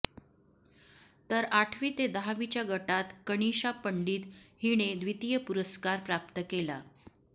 तर आठवी ते दहावीच्या गटात कनिशा पंडित हिने द्वितीय पुरस्कार प्राप्त केला